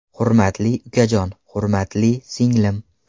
Hurmatli ukajon, hurmatli singlim.